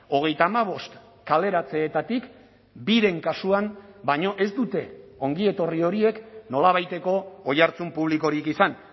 hogeita hamabost kaleratzeetatik biren kasuan baino ez dute ongietorri horiek nolabaiteko oihartzun publikorik izan